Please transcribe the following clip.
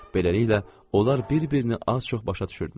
Beləliklə, onlar bir-birini az-çox başa düşürdülər.